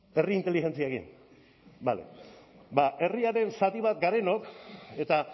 herri inteligentziarekin bale ba herriaren zati bat garenok eta